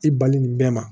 I bali bɛɛ ma